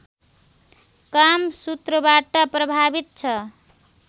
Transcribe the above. कामसूत्रबाट प्रभावित छ